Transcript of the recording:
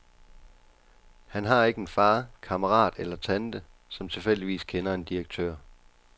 Han har ikke en far, kammerat eller tante, som tilfældigvis kender en direktør.